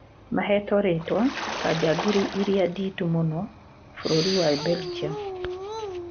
"mahetwo ritwa ta njangiri iria nditu mũno bũrũri wa belgium"